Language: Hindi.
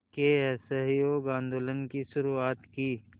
के असहयोग आंदोलन की शुरुआत की